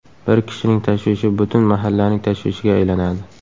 Bir kishining tashvishi butun mahallaning tashvishiga aylanadi.